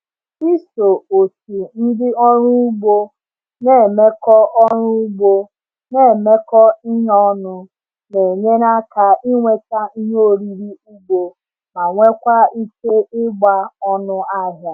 Iso otu ndị ọrụ ugbo na-emekọ ọrụ ugbo na-emekọ ihe ọnụ na-enyere aka ịnweta ihe oriri ugbo ma nwekwaa ike ịgba ọnụahịa.